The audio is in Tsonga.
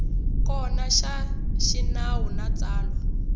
kona xa xinawu na tsalwa